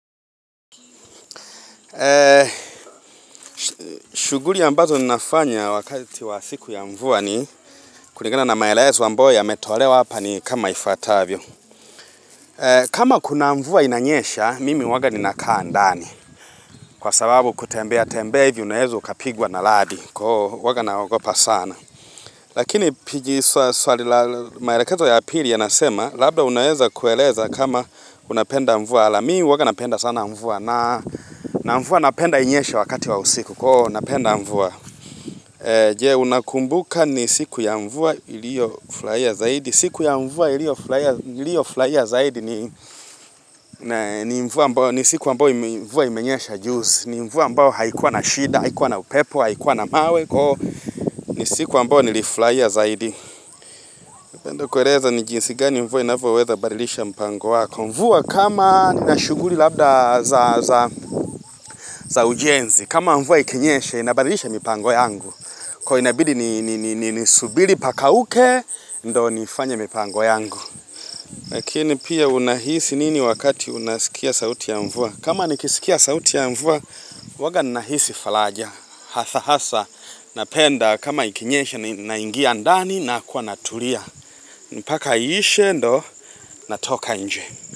Shughuli ambazo ninafanya wakati wa siku ya mvua ni kulingana na maelezo ambayo yametolewa hapa ni kama ifuatavyo. Kama kuna mvua inanyesha, mimi huwaga ninakaa ndani. Kwa sababu kutembea tembea hivi unaweza ukapigwa na radi. Huwaga naogopa sana. Lakini piji swali la, maelekezo ya pili yanasema labda unaweza kueleza kama unapenda mvua. Mi huwaga napenda sana mvua. Na mvua napenda inyeshe wakati wa usiku. Napenda mvua. Je, unakumbuka ni siku ya mvua iliyo furahia zaidi. Siku ya mvua iliyo furahia zaidi ni ni siku ambayo mvua imenyesha juzi. Ni mvua ambayo haikuwa na shida, haikuwa na upepo, haikuwa na mawe. Ni siku ambayo nilifurahia zaidi. Kueleza ni jinsi gani mvua inavyoweza kubadilisha mpango wako. Mvua kama nina shughuli labda za ujenzi. Kama mvua ikinyesha inabadilisha mipango yangu. Inabidi nisubiri pakauke ndo nifanye mipango yangu. Lakini pia unahisi nini wakati unaskia sauti ya mvua? Kama nikiskia sauti ya mvua huwaga nahisi faraja. Hatha hasa napenda kama ikinyesha naingia ndani nakuwa natulia. Mpaka iishe ndo natoka nje.